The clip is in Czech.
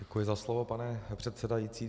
Děkuji za slovo, pane předsedající.